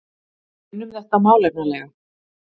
Við unnum þetta málefnalega